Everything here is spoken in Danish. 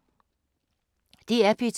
DR P2